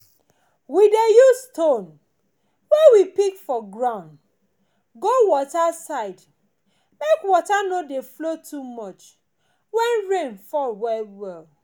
we dey use stone wey we pick for groumd go water side make water no dey flow too much when rain fall well well